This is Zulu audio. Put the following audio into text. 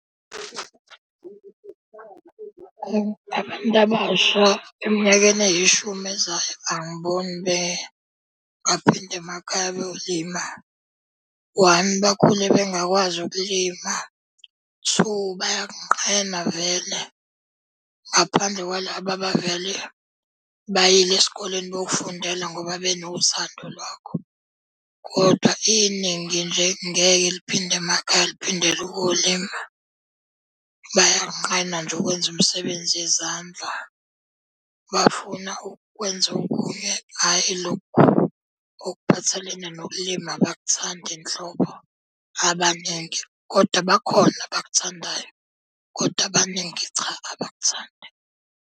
Abantu abasha eminyakeni eyishumi ezayo angiboni baphinde emakhaya beyolima. One, bakhule bengakwazi ukulima. Two, bayakunqena vele. Ngaphandle kwalaba abavele bayile esikoleni bayofundela ngoba benothando lwakho, kodwa iningi nje ngeke liphinde emakhaya liphindele ukuyolima. Bayanqena nje ukwenza umsebenzi yezandla. Bafuna ukwenza okunye, hhayi lokhu okuphathelene nokulima abakuthandi nhlobo abaningi. Kodwa bakhona abakuthandayo, kodwa abaningi cha, abakuthandi.